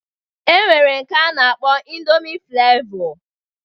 E nwere udiri ịndomi a na-akpọ ịndomi Flevọ